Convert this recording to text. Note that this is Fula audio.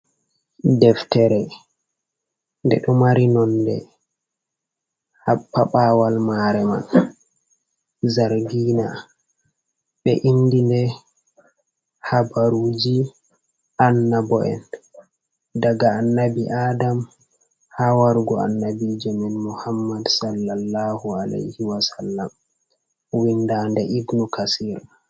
Ɗeftere ɗe ɗo mari nonde ha pabawal mare man, zargina be inɗinɗe ha baruji annabo’en. Ɗaga annabi adam ha warugo annabijo min muhammad sallallahu aleihi wa sallam winɗanɗe ibnu kasir.